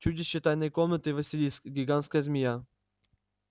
чудище тайной комнаты василиск гигантская змея